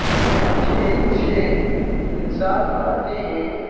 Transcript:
इसमें अच्छे अच्छे इंसान आते हैं।